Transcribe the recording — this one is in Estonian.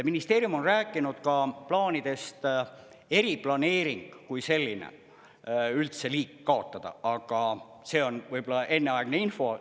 Ministeerium on rääkinud ka plaanidest eriplaneering kui selline üldse liik kaotada, aga see on võib-olla enneaegne info.